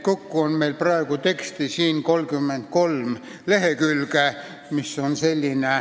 Kokku on praegu siin 33 lehekülge teksti.